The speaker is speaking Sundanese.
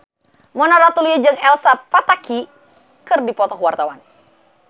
Mona Ratuliu jeung Elsa Pataky keur dipoto ku wartawan